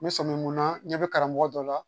N bɛ sɔmi mun na n ɲɛ bɛ karamɔgɔ dɔ la